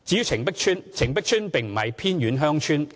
澄碧邨並不是偏遠鄉村。